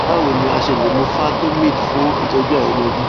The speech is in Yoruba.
bawo ni a ṣe le mu fertomid fun itọju àìriọmọbi